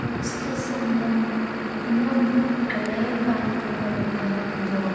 ಅಂದ್ರೆ ತುಂಬಾ ಹಳೆ ಕಾಲದಿಂದ ಬಂಡ ಒಂದು--